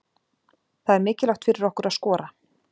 Það er mikilvægt fyrir okkur að skora.